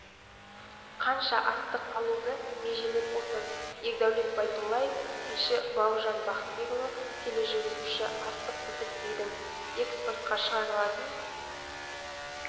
қанша астық алуды межелеп отыр ердәулет байдуллаев тілші бауыржан бақытбекұлы тележүргізуші астық бітік дедің экспортқа шығарылатын